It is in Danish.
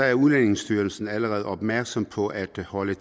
er udlændingestyrelsen allerede opmærksom på at holde